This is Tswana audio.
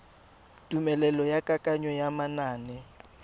tumelelo ya kananyo ya manane